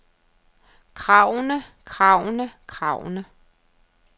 kravene kravene kravene